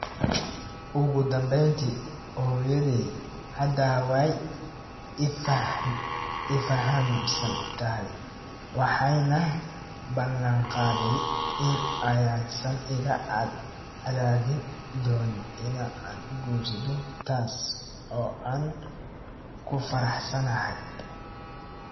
Ugu dambeyntii, hooyaday hadda way i fahamsan tahay waxayna ballanqaaday in aysan iga cadaadin doonin in aan guursado, taas oo aan ku faraxsanahay.